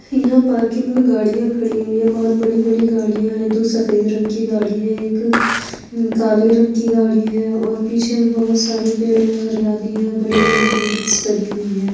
यहाँ पार्किंग में गाड़ियां खड़ी हुई है बहुत बड़ी बड़ी गाड़ियां है दो सफेद रंग की गाड़ी हैं एक काले रंग की गाड़ी है और पीछे बहुत सारे पेड़ है हरियाली है और बड़ी बड़ी बिल्डिंग्स बनी हुई हैं।